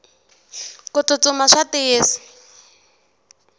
kutsutsuma swa tiyisa